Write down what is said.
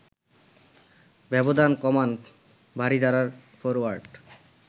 ব্যবধান কমান বারিধারার ফরোয়ার্ড